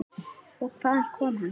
Og hvaðan kom hann?